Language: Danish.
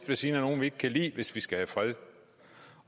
ved siden af nogle vi ikke kan lide hvis vi skal have fred